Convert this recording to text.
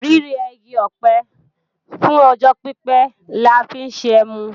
Rírẹ igi ọ̀pẹ fún ọjọ́ pípé la fi ń ṣẹmu